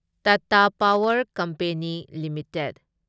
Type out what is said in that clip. Tata power company limited